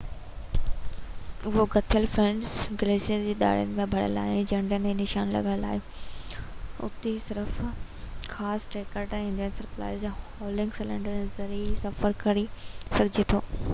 اهو ڳتيل برف گليشيئر جي ڏارن سان ڀريل آهي ۽ جهنڊين سان نشان لڳل آهن اتي صرف خاص ٽريڪٽرن ايندهن ۽ سپلائيز سان هولنگ سليڊز جي ذريعي سفر ڪري سگهجي ٿو